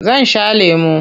Zan sha lemo.